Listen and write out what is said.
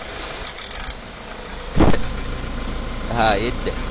હા એ જ ને.